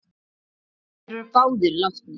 Þeir eru báðir látnir.